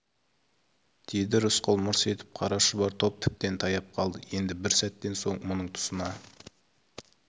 деді рысқұл мырс етіп қара шұбар топ тіптен таяп қалды енді бір сәттен соң мұның тұсына